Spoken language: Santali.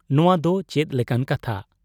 ᱱᱚᱣᱟ ᱫᱚ ᱪᱮᱫ ᱞᱮᱠᱟᱱ ᱠᱟᱛᱷᱟ ?